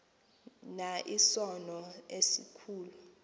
na isono esikhulu